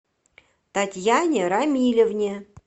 татьяне рамилевне